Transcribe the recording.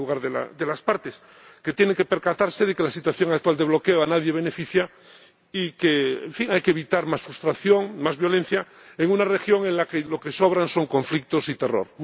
en primer lugar, de las partes, que tienen que percatarse de que la situación actual de bloqueo a nadie beneficia y de que, en fin, hay que evitar más frustración, más violencia, en una región en la que lo que sobran son conflictos y terror.